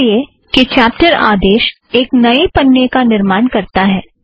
वह इस लिए कि चॅप्टर आदेस एक नए पन्ने का निर्माण करता है